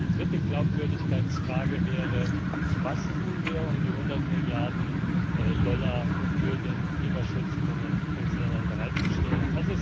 Die dritte Glaubwürdigkeitsfrage wäre Was tun wir, um die 100 Milliarden Dollar für den Klimaschutz in den Entwicklungsländern bereitzustellen?